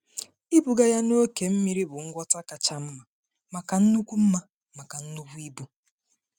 Ịbuga ya n’oké mmiri bụ ngwọta kacha mma maka nnukwu mma maka nnukwu ibu.